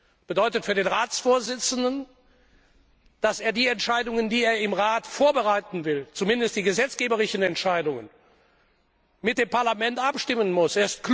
Das bedeutet für den Ratsvorsitzenden, dass er die Entscheidungen, die er im Rat vorbereiten will, zumindest die gesetzgeberischen Entscheidungen, mit dem Parlament abstimmen muss.